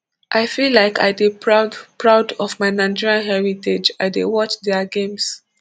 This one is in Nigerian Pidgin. i feel like i dey proud proud of my nigeria heritage i dey watch dia games